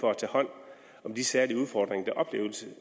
for at tage hånd om de særlige udfordringer